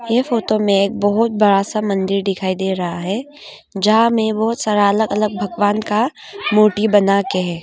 ये फोटो में एक बहुत बड़ा सा मंदिर दिखाई दे रहा है जहां में बहुत सारा अलग अलग भगवान का मूर्ति बना के है।